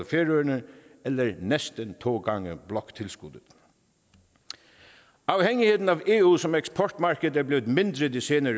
færøerne eller næsten to gange bloktilskuddet afhængigheden af eu som eksportmarked er blevet mindre i de senere